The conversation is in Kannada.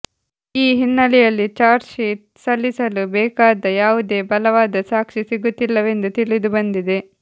ಈ ಹಿನ್ನೆಲೆಯಲ್ಲಿ ಚಾರ್ಜ್ಶೀಟ್ ಸಲ್ಲಿಸಲು ಬೇಕಾದ ಯಾವುದೇ ಬಲವಾದ ಸಾಕ್ಷಿ ಸಿಗುತ್ತಿಲ್ಲವೆಂದು ತಿಳಿದುಬಂದಿದೆ